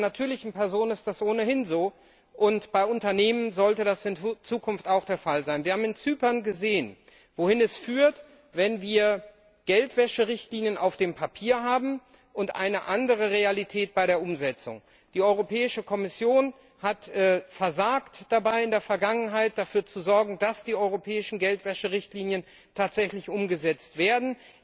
Bei einer natürlichen Person ist das ohnehin so, und bei Unternehmen sollte das in Zukunft auch der Fall sein. Wir haben in Zypern gesehen, wohin es führt, wenn wir Geldwäscherichtlinien auf dem Papier, und eine andere Realität bei der Umsetzung haben. Die Kommission hat in der Vergangenheit dabei versagt, dafür zu sorgen, dass die europäischen Geldwäscherichtlinien tatsächlich umgesetzt werden.